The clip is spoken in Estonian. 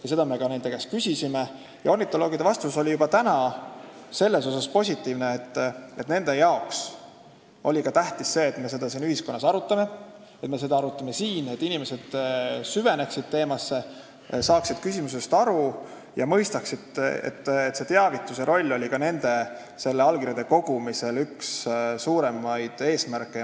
Me seda ka nende käest küsisime ja ornitoloogide vastus oli selles mõttes positiivne, et nendele on tähtis see, et me seda ühiskonnas arutaksime ja et me seda arutaksime siin, see, et inimesed süveneksid teemasse, saaksid küsimusest aru ja mõistaksid, et teavitus oli ka allkirjade kogumise üks suuremaid eesmärke.